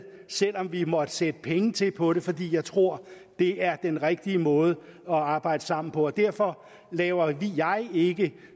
selv om vi måtte sætte penge til på det fordi jeg tror det er den rigtige måde at arbejde sammen på og derfor laver jeg ikke